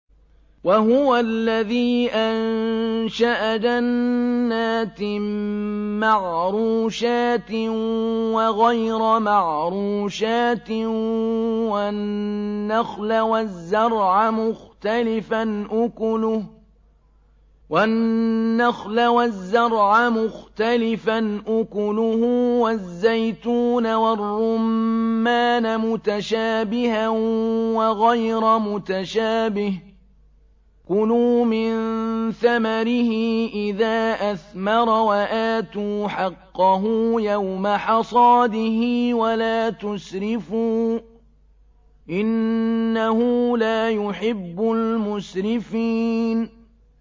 ۞ وَهُوَ الَّذِي أَنشَأَ جَنَّاتٍ مَّعْرُوشَاتٍ وَغَيْرَ مَعْرُوشَاتٍ وَالنَّخْلَ وَالزَّرْعَ مُخْتَلِفًا أُكُلُهُ وَالزَّيْتُونَ وَالرُّمَّانَ مُتَشَابِهًا وَغَيْرَ مُتَشَابِهٍ ۚ كُلُوا مِن ثَمَرِهِ إِذَا أَثْمَرَ وَآتُوا حَقَّهُ يَوْمَ حَصَادِهِ ۖ وَلَا تُسْرِفُوا ۚ إِنَّهُ لَا يُحِبُّ الْمُسْرِفِينَ